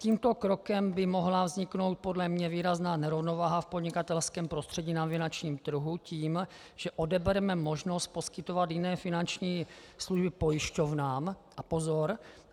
Tímto krokem by mohla vzniknout podle mne výrazná nerovnováha v podnikatelském prostředí na finančním trhu tím, že odebereme možnost poskytovat jiné finanční služby pojišťovnám - a pozor!